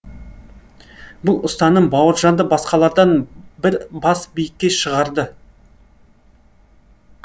бұл ұстаным бауыржанды басқалардан бір бас биікке шығарды